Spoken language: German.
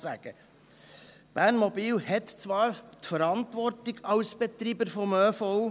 Bernmobil hat als Betreiber des ÖV zwar die Verantwortung.